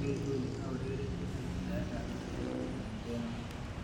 Eng inguni aurereni eng wirtaet ab mpiret eng.Denmark.